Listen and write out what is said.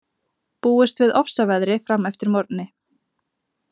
Búist við ofsaveðri fram eftir morgni